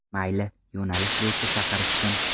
Mayli, yo‘nalish bo‘yicha chaqirishsin.